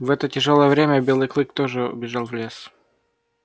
в это тяжёлое время белый клык тоже убежал в лес